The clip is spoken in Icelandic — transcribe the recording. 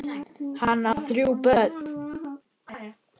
Hann á þrjú börn.